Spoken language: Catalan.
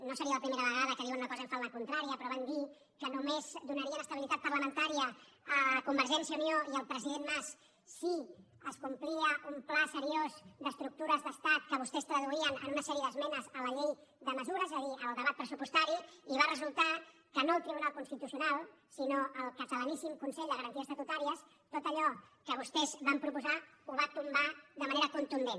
no seria la primera vegada que diuen una cosa i fan la contrària però van dir que només donarien estabilitat parlamentària a convergència i unió i al president mas si es complia un pla seriós d’estructures d’estat que vostès traduïen en una sèrie d’esmenes a la llei de mesures és a dir al debat pressupostari i va resultar que no el tribunal constitucional sinó el catalaníssim consell de garanties estatutàries tot allò que vostès van proposar ho va tombar de manera contundent